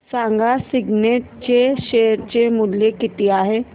सांगा सिग्नेट चे शेअर चे मूल्य किती आहे